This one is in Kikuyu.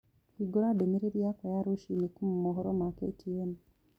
hĩngura ndumĩriri yakwa ya rũcĩĩnĩ kuũma mohoro ma ktn